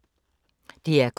DR K